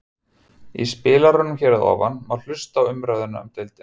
Í spilaranum hér að ofan má hlusta á umræðu um deildina.